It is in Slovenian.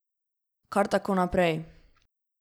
Kar tako naprej.